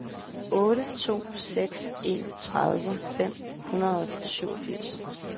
otte to seks en tredive fem hundrede og syvogfirs